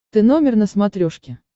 ты номер на смотрешке